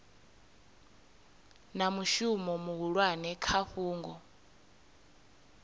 na mushumo muhulwane kha fhungo